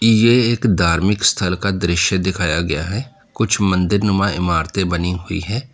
यह एक धार्मिक स्थल का दृश्य दिखाया गया है कुछ मंदिरनुमा इमारतें बनी हुई हैं।